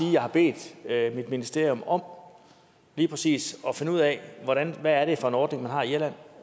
jeg har bedt mit ministerium om lige præcis at finde ud af hvad det er for en ordning man har i irland og